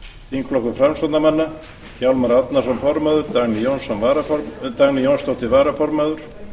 þingflokkur framsóknarmanna hjálmar árnason formaður dagný jónsdóttir varaformaður